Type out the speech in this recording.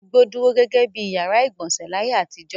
Inú igbó dúró gẹ́gẹ́ bí ìyàrá-ìgbọ̀nsẹ̀ láyé àtijọ́.